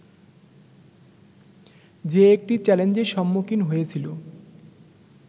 যে একটি চ্যালেঞ্জের সম্মুখীন হয়েছিল